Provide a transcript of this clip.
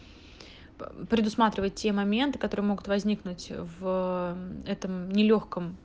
предусматривает те моменты которые могут возникнуть в этом не лёгком